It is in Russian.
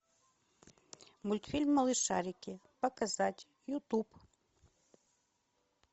мультфильм малышарики показать ютуб